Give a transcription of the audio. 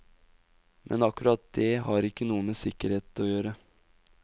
Men akkurat det har ikke noe med sikkerhet å gjøre.